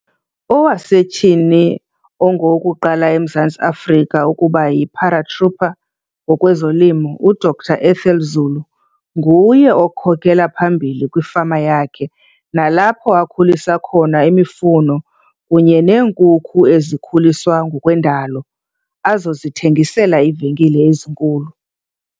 Owasetyhini ongowokuqala eMzantsi Afrika ukuba yi-paratrooper ngokwezolimo, UGqr Ethel Zulu, nguye okhokhela phambili kwifama yakhe nalapho akhulisa khona imifuno kunye neenkukhu ezikhuliswa ngokwendalo azozithengisela iivenkile ezinkulu.